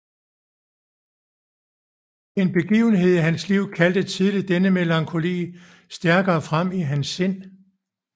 En begivenhed i hans liv kaldte tidlig denne melankoli stærkere frem i hans sind